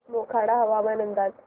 मोखाडा हवामान अंदाज